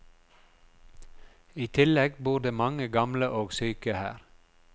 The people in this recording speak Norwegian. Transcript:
I tillegg bor det mange gamle og syke her.